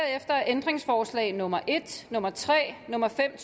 er ændringsforslag nummer en nummer tre nummer fem